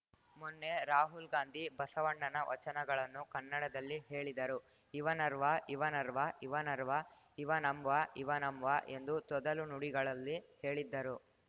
ಮೊನ್ನೆ ರಾಹುಲ್‌ ಗಾಂಧಿ ಬಸವಣ್ಣನ ವಚನಗಳನ್ನು ಕನ್ನಡಲ್ಲಿ ಹೇಳಿದರು ಇವ ನರ್ವ ಇವ ನರ್ವ ಇವ ನರ್ವ ಇವ ನಮ್ವ ಇವ ನಮ್ವ ಎಂದು ತೊದಲು ನುಡಿಗಳಲ್ಲಿ ಹೇಳಿದ್ದರು